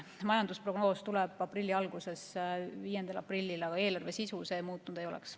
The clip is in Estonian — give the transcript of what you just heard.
Majandusprognoos tuleb aprilli alguses, 5. aprillil, aga eelarve sisu see muutnud ei oleks.